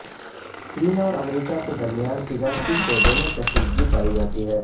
چین اور امریکہ کے درمیان تجارتی شعبے میں کشیدگی پائی جاتی ہے